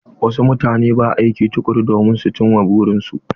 Wasu mutane ba aiki tukuru domin ci ma burin su.